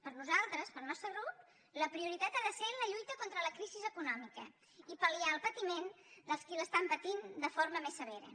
per nosaltres pel nostre grup la prioritat ha de ser la lluita contra la crisi econòmica i pal·liar el patiment dels qui l’estan patint de forma més severa